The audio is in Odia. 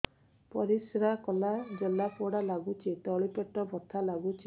ପରିଶ୍ରା କଲେ ଜଳା ପୋଡା ଲାଗୁଚି ତଳି ପେଟ ବଥା ଲାଗୁଛି